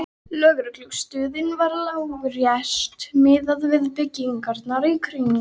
Lögreglustöðin var lágreist miðað við byggingarnar í kring.